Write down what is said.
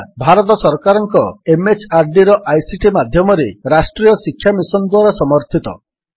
ଯାହା ଭାରତ ସରକାରଙ୍କ MHRDର ଆଇସିଟି ମାଧ୍ୟମରେ ରାଷ୍ଟ୍ରୀୟ ଶିକ୍ଷା ମିଶନ୍ ଦ୍ୱାରା ସମର୍ଥିତ